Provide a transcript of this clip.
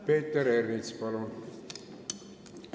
Peeter Ernits, palun!